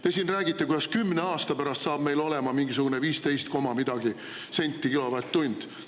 Te siin räägite, kuidas 10 aasta pärast saab meil olema mingisugune 15 koma midagi senti kilovatt-tund.